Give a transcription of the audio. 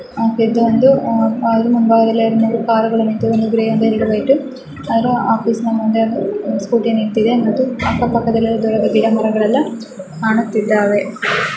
ಇದು ಒಂದು ಅದರ ಮುಂಭಾಗ ಅಲ್ಲಿ ಎರಡು ಮೂರು ಕಾರು ಗಳು ನಿಂತಿದೆ. ಒಂದು ಗ್ರೇಯ್ ಎರಡು ವೈಟು ಹಾಗು ಆಫೀಸ್ ನ ಮುಂದೆ ಒಂದು ಸ್ಕೂಟಿ ನಿಂತಿದೆ ಮತ್ತು ಅಕ್ಕ ಪಕ್ಕದಲ್ಲಿ ದೂರ ಬಧಿಯ ಮರಗಳೆಲ್ಲ ಕಾಣುತ್ತಿದ್ದಾವೆ.